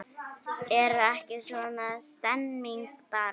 Er ekki svona stemning bara?